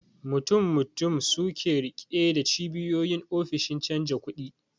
Mutum mutum suke rike da cibiyoyin ofishin canja kudi